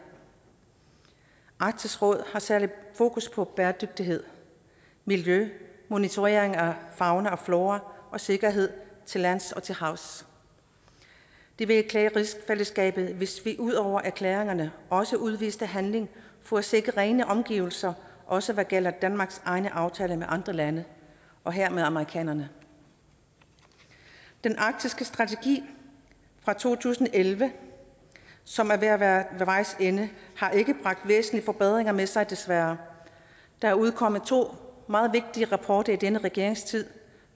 arktisk råd har særlig fokus på bæredygtighed miljø monitorering af fauna og flora og sikkerhed til lands og til havs det ville klæde rigsfællesskabet hvis vi ud over erklæringerne også udviste handling for at sikre rene omgivelser også hvad gælder danmarks egne aftaler med andre lande og her med amerikanerne den arktiske strategi fra to tusind og elleve som er ved at være ved vejs ende har ikke bragt væsentlige forbedringer med sig desværre der er udkommet to meget vigtige rapporter i denne regerings tid